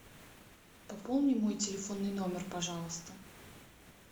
пополни мой телефонный номер пожалуйста